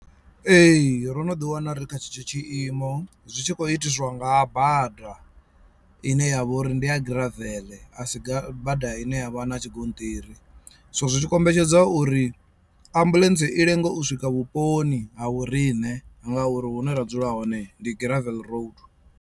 Ee ro no ḓi wana ri kha tshetsho tshi imo zwitshi khou itiswa nga bada ine yavha uri ndi ya gravel asi ga bada ine ya vha na tshigonṱiri so zwi kombetshedza uri ambuḽentse i lenge u swika vhuponi ha vhoriṋe ngauri hune ra dzula hone ndi gravel road.